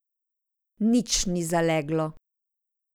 Nič ni zaleglo.